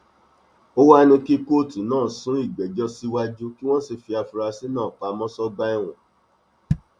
ó wàá ní kí kóòtù náà sún ìgbẹjọ síwájú kí wọn sì fi àfúrásì náà pamọ sọgbà ẹwọn